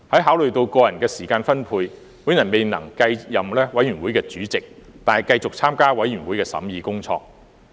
考慮到個人的時間分配，我未能繼續擔任法案委員會主席，但繼續參與法案委員會的審議工作。